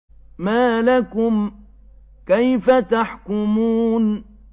مَا لَكُمْ كَيْفَ تَحْكُمُونَ